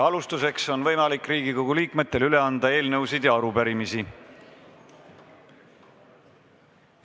Alustuseks on Riigikogu liikmetel võimalik üle anda eelnõusid ja arupärimisi.